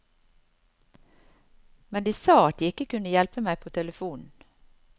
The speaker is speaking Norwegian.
Men de sa at de ikke kunne hjelpe meg på telefonen.